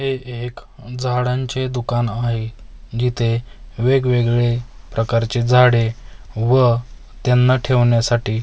हे एक झाडांचे दुकान आहे जिथे वेगवेगळे प्रकारचे झाडे व त्यांना ठेवण्यासाठी वे--